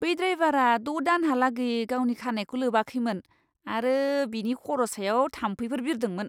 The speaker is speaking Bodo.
बै ड्राइवारा द' दानहालागै गावनि खानाइखौ लोबाखैमोन आरो बिनि खर' सायाव थाम्फैफोर बिरदोंमोन।